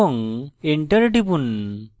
enter টিপুন